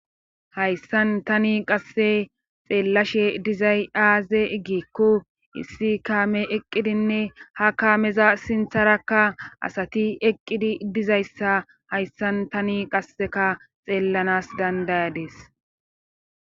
Hayssan tani qasse xeellashe dizay aaze igikko issi kaame eqqidinne ha kaameza sintharakka asati eqqidi dizayssa hayssan tani qasseka xeellanas dandayades